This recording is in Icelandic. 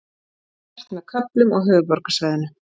Bjart með köflum á höfuðborgarsvæðinu